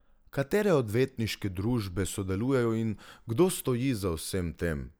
Katere odvetniške družbe sodelujejo in kdo stoji za vsem tem?